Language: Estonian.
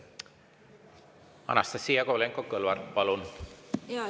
Anastassia Kovalenko-Kõlvart, palun!